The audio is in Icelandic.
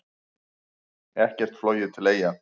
Ekkert flogið til Eyja